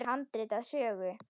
Hér er handrit að sögu.